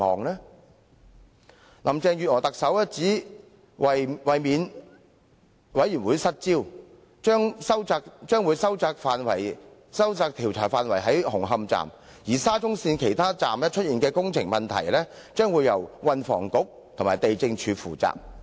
特首林鄭月娥表示，為免調查委員會"失焦"，會將調查範圍收窄至紅磡站；至於沙中線其他車站出現的工程問題，則會由運輸及房屋局及地政總署負責。